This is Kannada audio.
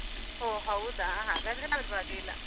ಓಹ್ ಹೌದಾ. ಹಾಗಾದ್ರೆ ಪರ್ವಾಗಿಲ್ಲ.